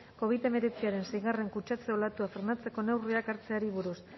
covid hemeretziaren seigarren kutsatze olatua frenatzeko neurriak hartzeari buruz